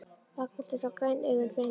Ragnhildur sá græn augun sveima um.